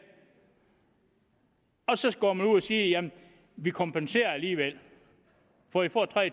og så går man ud og siger jamen vi kompenserer det alligevel for i får tre